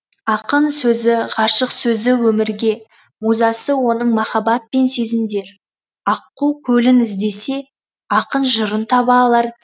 ақын сөзі ғашық сөзі өмірге музасы оның махаббат пен сезімдер аққу көлін іздесе ақын жырын таба алар